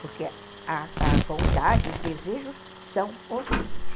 Porque a a vontade, os desejos são os mesmos.